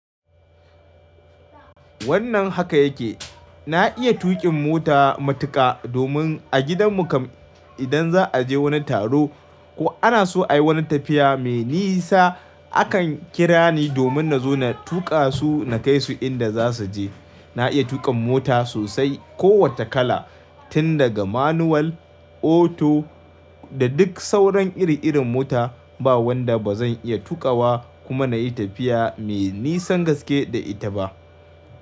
Wannan haka yake, na iya tuƙin mota matuƙa domin a gidanmu kam idan za a je wani taro ko ana so a yi wani tafiya mai nisa, akan kira ni domin na zo na tuƙa su na kai su inda za su je. Na iya tuƙin mota sosai. Kowace kala, tun daga manual, auto da duk sauran iri-irin mota ba wadda ba zan iya tuƙawa kuma na yi tafiya mai nisan gaske da ita ba.